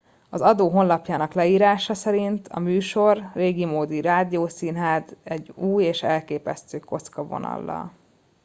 az adó honlapjának leírása szerint a műsor régimódi rádiószínház egy új és elképesztő kocka vonallal